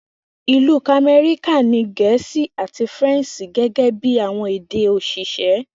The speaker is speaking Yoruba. Ilu Kamẹrika ni Gẹẹsi ati Faranse gẹgẹbi awọn ede osise.